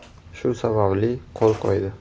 Shu sababli, qo‘l qo‘ydi”.